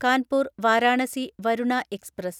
Kanpur Varanasi Varuna express